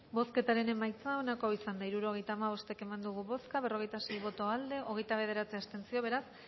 bozketaren emaitza onako izan da hirurogeita hamabost eman dugu bozka berrogeita sei boto aldekoa hogeita bederatzi abstentzio beraz